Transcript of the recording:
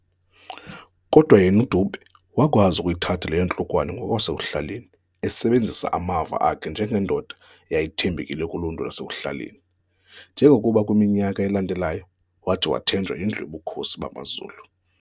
Kodwa yena uDube wakwazi ukuyithatha le yantlukwano ngokwasekuhlaleni esebenzisa amava akhe nanje ngendoda eyayithembekile kuluntu lwasekuhlaleni, njengokuba kwiminyaka elandelayo, wathi wathenjwa yindlu yobuKhosi bamaZulu.